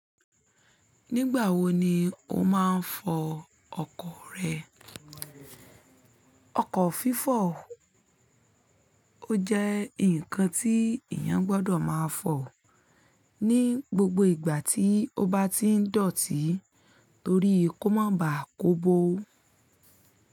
Nígbà wo ni o máa ń fọ ọkọ̀ rẹ? Ọkọ̀ fífọ̀ ó jẹ́ nǹkan tí èèyàn gbọdọ̀ máa fọ̀ ní gbogbo ìgbà tí ó bá ti ń dọ̀tí torí kó má ba à kó bo.